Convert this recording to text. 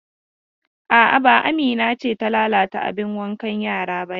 A'a, ba Amina ce ta lalata abin wankan yara ba yau.